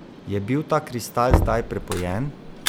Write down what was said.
Je bil ta kristal zdaj prepojen?